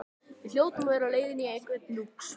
Við hljótum að vera á leiðinni á einhvern lúx